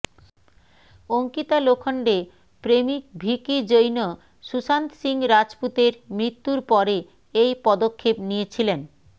অঙ্কিতা লোখণ্ডে প্রেমিক ভিকি জৈন সুশান্ত সিং রাজপুতের মৃত্যুর পরে এই পদক্ষেপ নিয়েছিলেন